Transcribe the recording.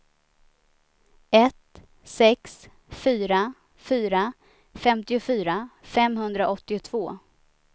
ett sex fyra fyra femtiofyra femhundraåttiotvå